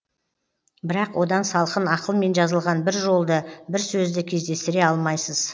бірақ одан салқын ақылмен жазылған бір жолды бір сөзді кездестіре алмайсыз